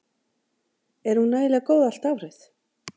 Er hún nægilega góð allt árið?